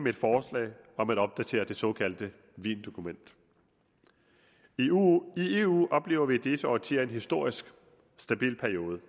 et forslag om at opdatere det såkaldte wiendokument i eu oplever vi i disse årtier en historisk stabil periode